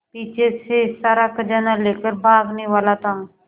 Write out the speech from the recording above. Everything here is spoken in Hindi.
पीछे से सारा खजाना लेकर भागने वाला था